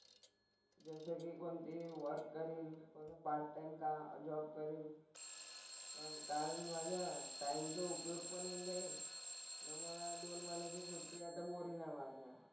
जसं की कोणती वर्क करीन. पार्ट टाइम जॉब करीन. मग काय माझ्या टाइमचा उपयोग पण होऊन जाईल. आणि मला दोन महिन्याची सुट्टी आता बोरिंग नाही वाटणार.